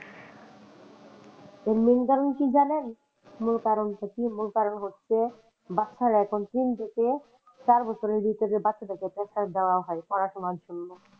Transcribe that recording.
এর main কারন কী জানেন? মূল কারন টা কী মূল কারন হচ্ছে বাচ্চারা এখন তিন থেকে চার বছরের ভিতরে বাচ্চাদের কে pressure দেওয়া হয় পড়াশোনার জন্য।